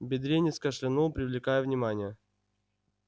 бедренец кашлянул привлекая внимание